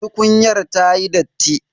Tukunyar ta yi datti.